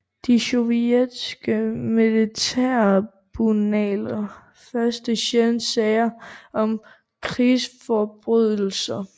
De sovjetiske militærtribunaler førte sjældent sager om krigsforbrydelser